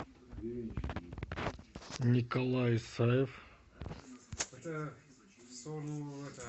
николай исаев